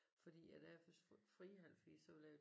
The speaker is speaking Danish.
Fordi at jeg har først fri halv 4 så ville jeg